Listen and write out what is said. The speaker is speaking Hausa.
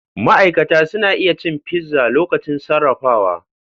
Ma'aikata suna iya cin fizza lokacin sarrafawa.